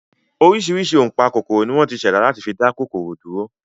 Oríṣiríṣi ọ̀npákòkòrò ni wọ́n ti ṣẹ̀dá láti fi dá kòkòrò dúró